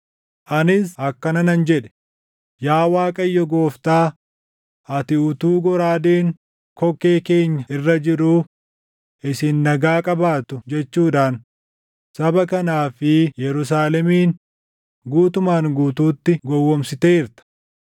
Anis akkana nan jedhe; “Yaa Waaqayyo Gooftaa, ati utuu goraadeen kokkee keenya irra jiruu, ‘Isin nagaa qabaattu’ jechuudhaan saba kanaa fi Yerusaalemin guutumaan guutuutti gowwoomsiteerta?”